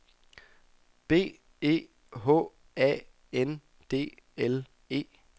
B E H A N D L E